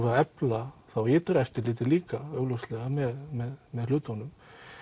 að efla þá ytra eftirlitið líka augljóslega með hlutunum